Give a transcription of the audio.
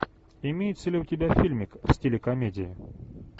имеется ли у тебя фильмик в стиле комедии